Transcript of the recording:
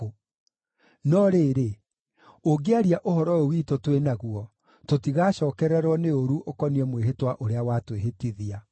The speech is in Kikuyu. No rĩrĩ ũngĩaria ũhoro ũyũ witũ twĩ naguo, tũtigacookererwo nĩ ũũru ũkoniĩ mwĩhĩtwa ũrĩa watwĩhĩtithia.”